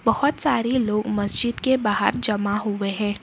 बहोत सारे लोग मस्जिद के बाहर जमा हुए हैं।